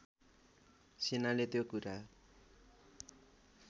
सेनाले त्यो कुरा